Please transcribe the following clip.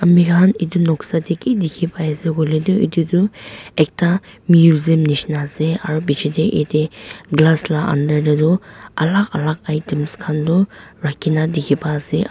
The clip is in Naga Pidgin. ami khan etu noksa ki dekhi pai ase koile tu etu ekta measum nisna ase piche jaate glass laga under te tu alag alag items khan tu rakhi kina dekhi pai ase.